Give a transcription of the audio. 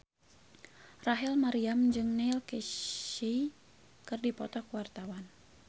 Rachel Maryam jeung Neil Casey keur dipoto ku wartawan